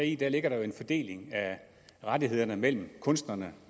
i den ligger der jo en fordeling af rettighederne mellem kunstnerne